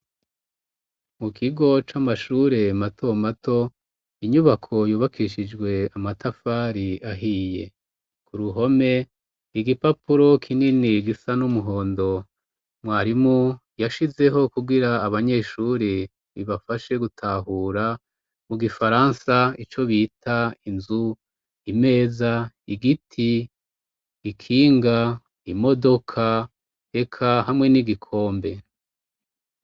Mu kigo c'amashure mato mato, inyubako yubakishijwe amatafari ahiye. Ku ruhome, igipapuro kinini gisa n'umuhondo mwarimu yashizeho kugira abanyeshuri bibafashe gutahura, mu gifaransa ico bita inzu, imeza, igiti ,ikinga, imodoka eka hamwe n'igikombe.